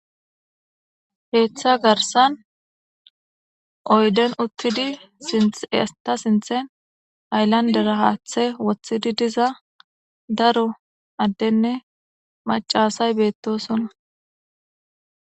Keththa garssan oydden utidi hayllanddera haththe woththidi diza daro adenne macca asay bettosona